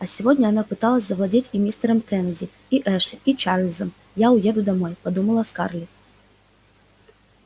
а сегодня она пыталась завладеть и мистером кеннеди и эшли и чарлзом я уеду домой подумала скарлетт